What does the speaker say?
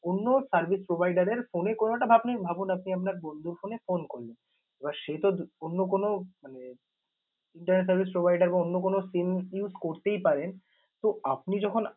অন্য service provider এর phone এ কোন বা আপনি ভাবুন আপনি আপনার বন্ধুর phone এ phone করলেন। এবার সেতো অন্য কোন মানে internet service provider বা অন্য কোন SIM use করতেই পারে। তো আপনি যখন